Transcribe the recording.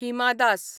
Hima Das